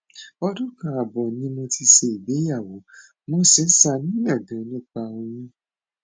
ọdún kan ààbọ ni mo ti ṣègbéyàwó mo sì ń ṣàníyàn ganan nípa oyún